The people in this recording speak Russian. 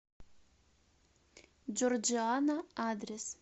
джорджиано адрес